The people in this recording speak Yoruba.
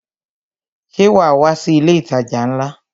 Ṣé wa wá sí ilé itaja ńlá?